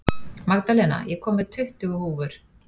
Magdalena, ég kom með tuttugu húfur!